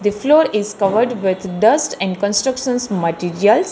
The floor is covered with dust and constructions materials.